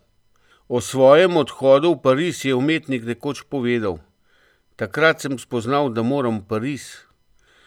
O svojem odhodu v Pariz je umetnik nekoč povedal: "Takrat sem spoznal, da moram v Pariz.